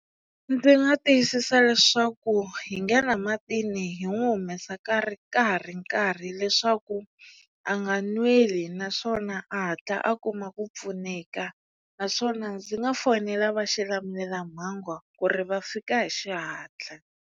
Ndzi nga tiyisisa leswaku hi nghena matini hi n'wi humesa ka ri ka ha ri nkarhi leswaku a nga nweli naswona a hatla a kuma ku pfuneka naswona ndzi nga fonela va xilamulelamhangu ku ri va fika hi xihatla.